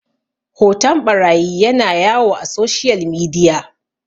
hoton ɓarayi yana yawo a soshiyal midiya